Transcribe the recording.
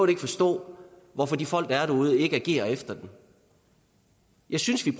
ikke forstå hvorfor de folk der er derude ikke agerer efter det jeg synes vi